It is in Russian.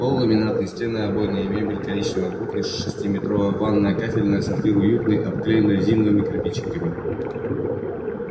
пол ламинатный стены обойные мебель коричневая кухня шестиметровая ванная кафельная сортир уютный обклеен резиновыми кирпичиками